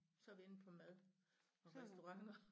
Så vi inde på mad og restaurenter